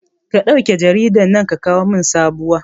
Ka ɗauke jaridan nan ka kawo min sabowa